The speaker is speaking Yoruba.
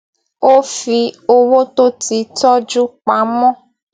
ó fi owó tó ti tójú pa mó